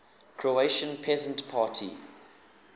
croatian peasant party